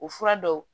O fura dɔw